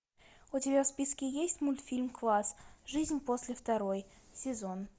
у тебя в списке есть мультфильм класс жизнь после второй сезон